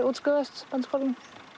útskrifaðist úr Bændaskólanum